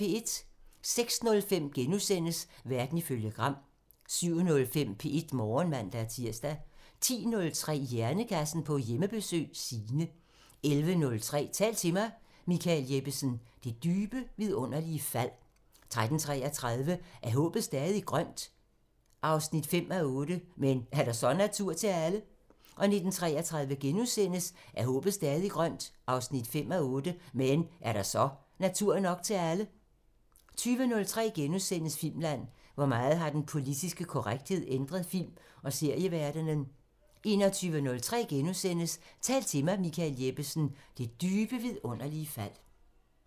06:05: Verden ifølge Gram * 07:05: P1 Morgen (man-tir) 10:03: Hjernekassen på Hjemmebesøg – Signe 11:03: Tal til mig – Michael Jeppesen: Det dybe vidunderlige fald 13:33: Er håbet stadig grønt? 5:8 – Men er der så natur nok til alle? 19:33: Er håbet stadig grønt? 5:8 – Men er der så natur nok til alle? * 20:03: Filmland: Hvor meget har den politiske korrekthed ændret film- og serieverdenen? * 21:03: Tal til mig – Michael Jeppesen: Det dybe vidunderlige fald *